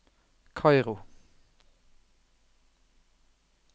Kairo